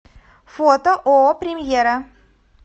фото ооо премьера